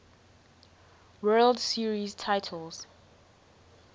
world series titles